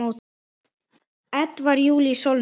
Edvarð Júlíus Sólnes.